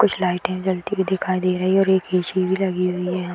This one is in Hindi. कुछ लाइटें जलती हुई दिखाई दे रही है और एक ए.सी. भी लगी हुई है यहाँ।